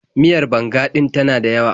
Miyar banga ɗin ta na dayawa.